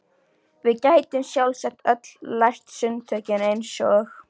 Við gætum sjálfsagt öll lært sundtökin eins og